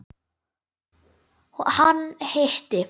Hún: Hann hitti.